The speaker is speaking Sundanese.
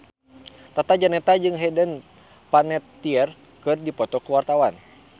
Tata Janeta jeung Hayden Panettiere keur dipoto ku wartawan